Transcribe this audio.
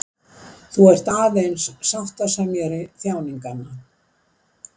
Þú ert aðeins sáttasemjari þjáninganna.